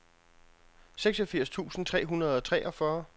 seksogfirs tusind tre hundrede og treogfyrre